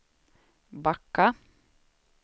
backa